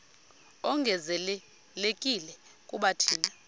ongezelelekileyo kuba thina